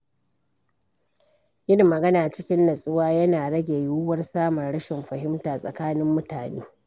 Yin magana cikin nutsuwa yana rage yiwuwar samun rashin fahimta tsakanin mutane.